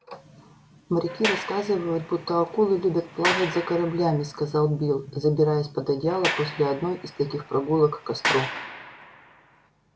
моряки рассказывают будто акулы любят плавать за кораблями сказал билл забираясь под одеяло после одной из таких прогулок к костру